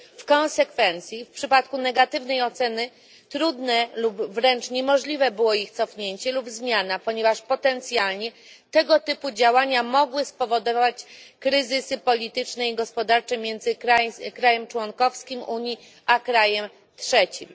W konsekwencji w przypadku negatywnej oceny trudne lub wręcz niemożliwe było ich cofnięcie lub zmiana, ponieważ potencjalnie tego typu działania mogły spowodować kryzysy polityczne i gospodarcze między krajem członkowskim Unii a krajem trzecim.